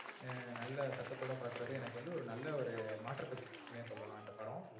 ஆஹ் நல்ல சத்ததோட பாக்குறது எனக்கு வந்து ஒரு நல்ல ஒரு மாற்றத்தை கொடுத்துசுனு சொல்லாம் இந்த படம்.